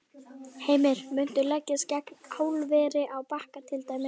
Heimir: Muntu leggjast gegn álveri á Bakka til dæmis?